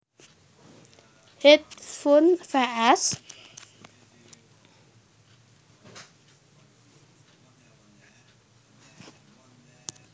Hedge Funds vs